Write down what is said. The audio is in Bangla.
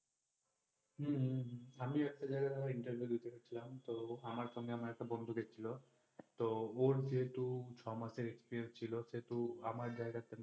হম আমিও একটা জায়গায় interview দিতে গেছিলাম তো আমার সঙ্গে আমার একটা বন্ধু গেছিলো তো ওর যেহেতু ছমাসের experience ছিল সেহেতু আমার জায়গাতে